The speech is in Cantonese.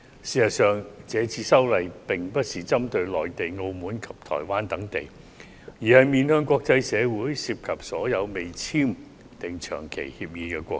事實上，這次修例並不是針對內地、澳門及台灣等地，而是面向國際社會，涉及所有未與香港簽訂長期移交逃犯協定的國家。